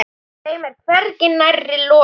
Þeim er hvergi nærri lokið.